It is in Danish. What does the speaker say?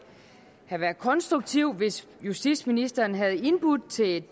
have været konstruktivt hvis justitsministeren havde indbudt til et